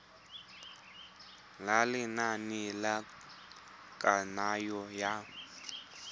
ya lenane la kananyo ya